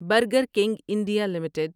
burger king India limited